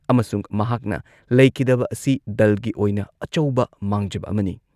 ꯑꯃꯁꯨꯡ ꯃꯍꯥꯛꯅ ꯂꯩꯈꯤꯗꯕ ꯑꯁꯤ ꯗꯜꯒꯤ ꯑꯣꯏꯅ ꯑꯆꯧꯕ ꯃꯥꯡꯖꯕ ꯑꯃꯅꯤ ꯫